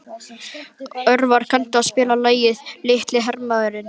Örvar, kanntu að spila lagið „Litli hermaðurinn“?